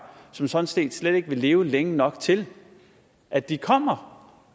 som sådan set slet ikke vil leve længe nok til at de kommer